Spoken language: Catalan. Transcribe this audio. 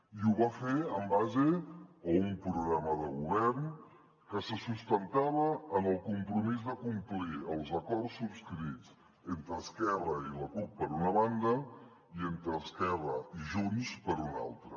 i ho va fer en base a un programa de govern que se sustentava en el compromís de complir els acords subscrits entre esquerra i la cup per una banda i entre esquerra i junts per una altra